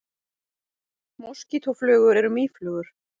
Moskítóflugur eru mýflugur.